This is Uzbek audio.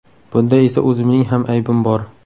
Bunda esa o‘zimning ham aybim bor.